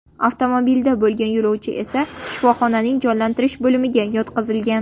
Avtomobilda bo‘lgan yo‘lovchi esa shifoxonaning jonlantirish bo‘limiga yotqizilgan.